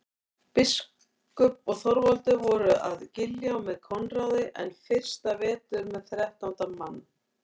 Biskup og Þorvaldur voru að Giljá með Koðráni enn fyrsta vetur með þrettánda mann.